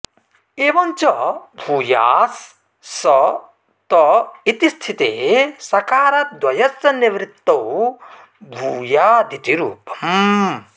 एवं च भूयास् स् त् इति स्थिते सकारद्वयस्य निवृत्तौ भूयादिति रूपम्